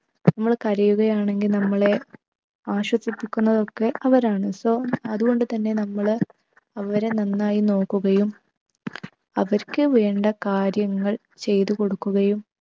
നമ്മള് കരയുകയാണെങ്കിൽ നമ്മളെ ആശ്വസിപ്പിക്കുന്നതൊക്കെ അവരാണ്. so അതുകൊണ്ട് തന്നെ നമ്മൾ അവരെ നന്നായി നോക്കുകയും അവർക്ക് വേണ്ട കാര്യങ്ങൾ ചെയ്ത കൊടുക്കുകയും